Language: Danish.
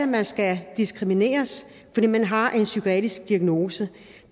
man skal diskrimineres fordi man har en psykiatrisk diagnose